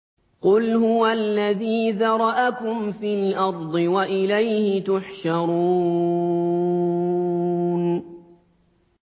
قُلْ هُوَ الَّذِي ذَرَأَكُمْ فِي الْأَرْضِ وَإِلَيْهِ تُحْشَرُونَ